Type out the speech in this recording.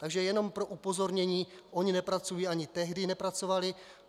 Takže jenom pro upozornění - ony nepracují, ani tehdy nepracovaly.